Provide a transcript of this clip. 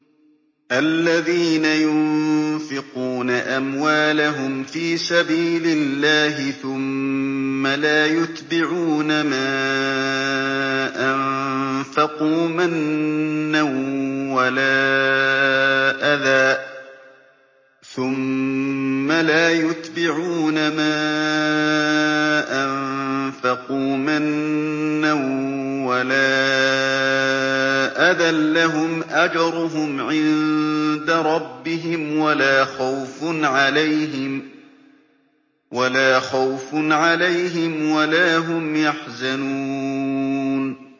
الَّذِينَ يُنفِقُونَ أَمْوَالَهُمْ فِي سَبِيلِ اللَّهِ ثُمَّ لَا يُتْبِعُونَ مَا أَنفَقُوا مَنًّا وَلَا أَذًى ۙ لَّهُمْ أَجْرُهُمْ عِندَ رَبِّهِمْ وَلَا خَوْفٌ عَلَيْهِمْ وَلَا هُمْ يَحْزَنُونَ